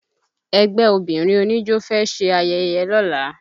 Ẹgbẹ́ obìnrin oníjó fẹ́ ṣe ayẹyẹ lọ́la